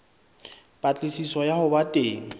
patlisiso ya ho ba teng